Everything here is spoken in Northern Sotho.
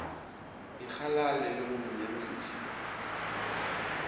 ikgalale le go mo nyamiša